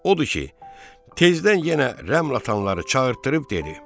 Odur ki, tezdən yenə rəml atanları çağırtdırıb dedi: